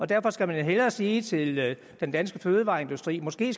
derfor skal man hellere sige til den danske fødevareindustri måske